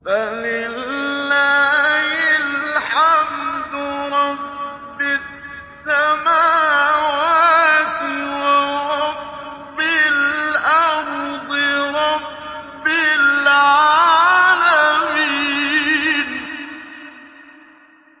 فَلِلَّهِ الْحَمْدُ رَبِّ السَّمَاوَاتِ وَرَبِّ الْأَرْضِ رَبِّ الْعَالَمِينَ